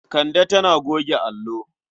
Kande tana goge allo.